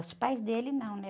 Os pais dele não, né?